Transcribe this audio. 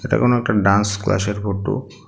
যেকোন একটা ডান্স ক্লাসের ফোটো ।